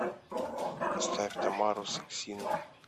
поставь тамару саксину